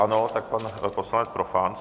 Ano, tak pan poslanec Profant.